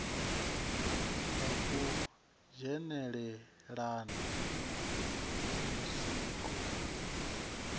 ha u dzhenelelana ha zwiko